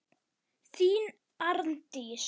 Þín, Arndís.